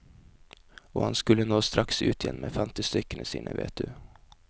Og han skulle nå straks ut igjen med fantestykkene sine, vet du.